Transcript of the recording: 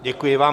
Děkuji vám.